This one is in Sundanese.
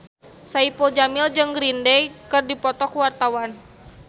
Saipul Jamil jeung Green Day keur dipoto ku wartawan